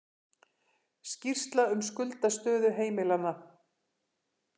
Skýrsla um skuldastöðu heimilanna